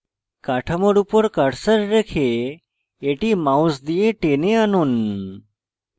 কাঠামোর উপর cursor রেখে এটি mouse দিয়ে টেনে আনুন